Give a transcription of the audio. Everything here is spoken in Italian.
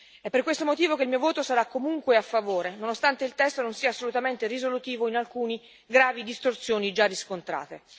È per questo motivo che il mio voto sarà comunque a favore, nonostante il testo non sia assolutamente risolutivo in alcune gravi distorsioni già riscontrate.